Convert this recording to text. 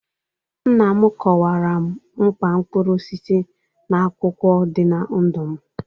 Nna m kọwara m mkpa mkpụrụ osisi na akwụkwọ dị na ndụ m.